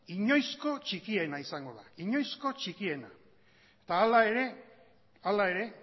inoizko txikiena izango da eta hala ere